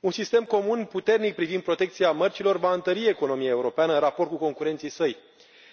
Un sistem comun puternic privind protecția mărcilor va întări economia europeană în raport cu concurenții săi